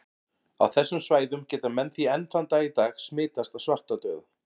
Á þessum svæðum geta menn því enn þann dag í dag smitast af svartadauða.